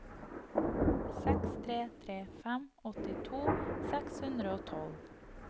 seks tre tre fem åttito seks hundre og tolv